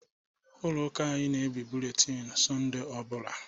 Ụlọ ụka anyị na-ebie bụletini Sọnde ọ bụla.